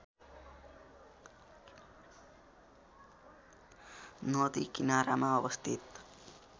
नदी किनारामा अवस्थित